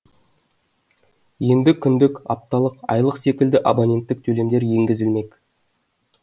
енді күндік апталық айлық секілді абоненттік төлемдер енгізілмек